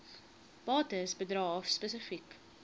bates bedrae spesifiek